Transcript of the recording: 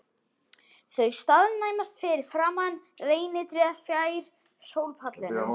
Þau staðnæmast fyrir framan reynitréð fjær sólpallinum.